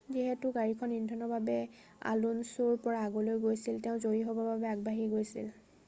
যিহেতু গাড়ীখন ইন্ধনৰ বাবে আলুনছুৰ পৰা আগলৈ গৈছিল তেওঁ জয়ী হ'বৰ বাবে আগবাঢ়ি গৈছিল